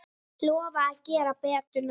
Lofa að gera betur næst.